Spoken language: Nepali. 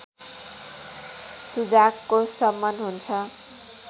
सुजाकको शमन हुन्छ